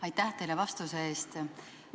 Aitäh teile vastuse eest!